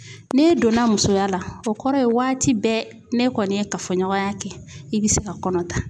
N'i donna musoya la, o kɔrɔ ye waati bɛɛ ne kɔni ye kafoɲɔgɔnya kɛ i be se ka kɔnɔ ta.